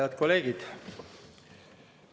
Head kolleegid!